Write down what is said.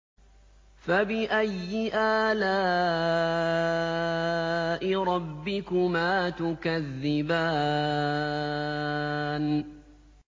فَبِأَيِّ آلَاءِ رَبِّكُمَا تُكَذِّبَانِ